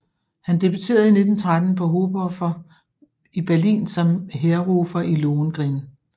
Han debuterede i 1913 på Hofoper i Berlin som Heerrufer i Lohengrin